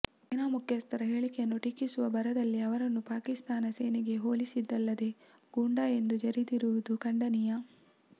ಸೇನಾ ಮುಖ್ಯಸ್ಥರ ಹೇಳಿಕೆಯನ್ನು ಟೀಕಿಸುವ ಭರದಲ್ಲಿ ಅವರನ್ನು ಪಾಕಿಸ್ಥಾನ ಸೇನೆಗೆ ಹೋಲಿಸಿದ್ದಲ್ಲದೇ ಗೂಂಡಾ ಎಂದು ಜರಿದಿರುವುದು ಖಂಡನೀಯ